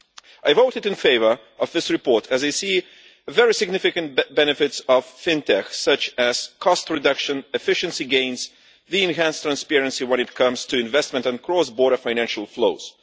I voted in favour of this report as I see very significant benefits of FinTech, such as cost reduction, efficiency gains and enhanced transparency when it comes to investment and cross-border financial flows.